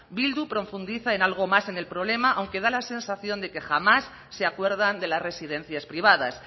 bildu profundiza en algo más en el problema aunque da la sensación de que jamás se acuerdan de las residencias privadas